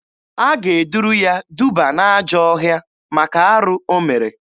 A ga-eduru ya duba n'ajọọ ọhịa maka arụ o mere.